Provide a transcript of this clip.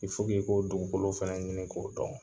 i ko dugukolo fana ɲini k'o dɔn